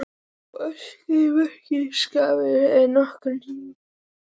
Og öskrið meira skerandi en nokkur hnífur getur bitið.